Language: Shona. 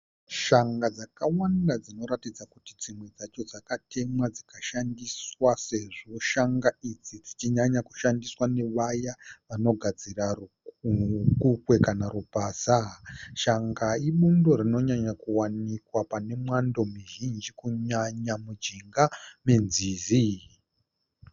Shanga dzakawanda , dzinoratidza kuti dzimwe dzacho dzakatemwa dzikashandiswa . Sezvo shanga idzi dzichinyanya kushandiswa nevaya vanogadzira rukukwe kana rupasa . Shanga ibundo rinonyanya kuwanikwa pane mwando muzhinji kunyanya mujinga me nzizi.